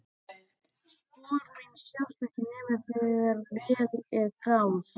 Spor mín sjást ekki nema þegar vel er að gáð.